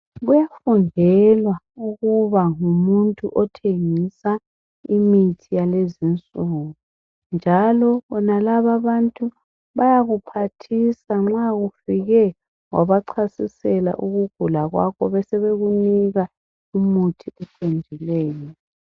Okufundela ukuba ngumuntu othengisa imithi yalezi insuku njalo bonalaba abantu bayakuphathisa nxa ufike wabachasisela ukugula kwakho besekunika umuthi oqondileyo.